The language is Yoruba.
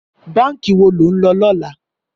Bànkí wó ló n lò lòlá?